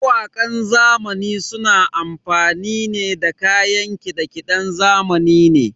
Mawakan zamani suna amfani ne da kayan kiɗe-kiɗen zamani ne.